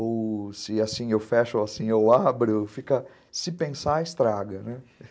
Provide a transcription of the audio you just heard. Ou se assim eu fecho ou assim eu abro, fica... Se pensar, estraga, né?